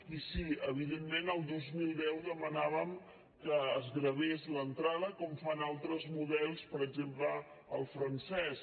i sí evidentment el dos mil deu demanàvem que es gravés l’entrada com fan altres models per exemple el francès